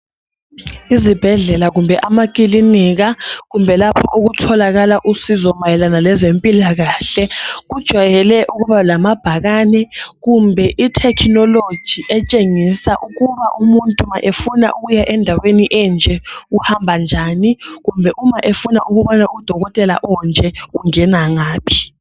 Izibhedlela kumbe amakilinika kumbe lapho okutholakala usizo mayelana lezempilakahle kujwayele ukuba lamabhakane kumbe ithekhinoloji etshengisa ukuthi uba umuntu efuna ukuya endaweni enje uhamba njani kumbe uma efuna ukubona udokotela onje ungena ngaphi.